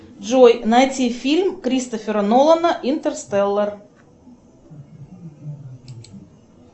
джой найти фильм кристофера нолана интерстеллар